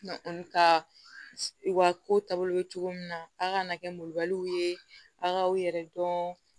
ka u ka ko ta bolo min na a kana kɛ ye a k'aw yɛrɛ dɔn